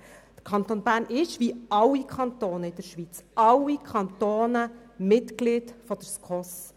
Der Kanton Bern ist wie alle Kantone in der Schweiz Mitglied der SKOS.